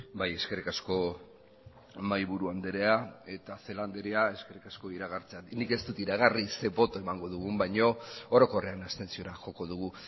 bai eskerrik asko mahaiburu andrea eta celaá andrea eskerrik asko iragartzeagatik nik ez dut iragarri ze boto emango dugun baina orokorrean abstentziora joko dugu